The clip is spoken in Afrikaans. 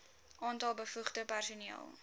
aantal bevoegde personeel